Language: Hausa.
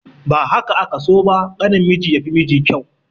Ba haka aka so ba, ƙanin miji ya fi miji kyau.